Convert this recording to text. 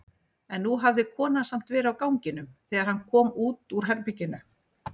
En nú hafði konan samt verið á ganginum þegar hann kom út úr herberginu.